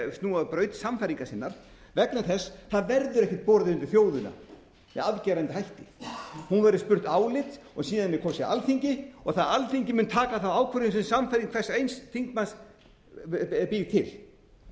af braut sannfæringar sinnar vegna þess að það verður ekkert borið undir þjóðina með afgerandi hætti hún verður spurð álits og síðan er kosið alþingi og það alþingi mun taka þá ákvörðun sem sannfæring hvers eins þingmanns býr til